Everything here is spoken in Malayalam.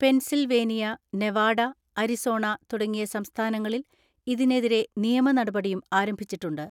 പെൻസിൽവേനിയ, നെവാഡ, അരിസോണ തുടങ്ങിയ സംസ്ഥാനങ്ങളിൽ ഇതിനെതിരെ നിയമ നടപടിയും ആരംഭിച്ചിട്ടുണ്ട്.